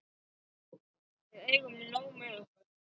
Við eigum nóg með okkar.